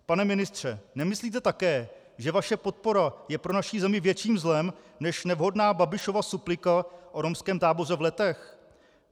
Pane ministře, nemyslíte také, že vaše podpora je pro naši zemi větším zlem než nevhodná Babišova suplika o romském táboře v Letech?